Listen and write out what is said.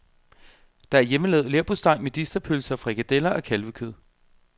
Der er hjemmelavet leverpostej, medisterpølse og frikadeller af kalvekød.